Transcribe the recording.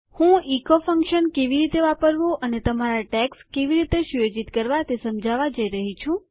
હું echo function કેવી રીતે વાપરવું અને તમારા ટૅગ્સ કેવી રીતે સુયોજિત કરવા તે સમજાવા જઈ રહી છું